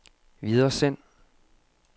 videresend